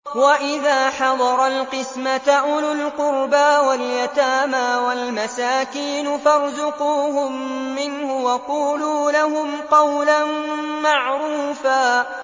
وَإِذَا حَضَرَ الْقِسْمَةَ أُولُو الْقُرْبَىٰ وَالْيَتَامَىٰ وَالْمَسَاكِينُ فَارْزُقُوهُم مِّنْهُ وَقُولُوا لَهُمْ قَوْلًا مَّعْرُوفًا